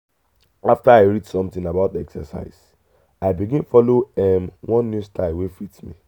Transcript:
after i read something about exercise i begin follow um one new style wey fit me.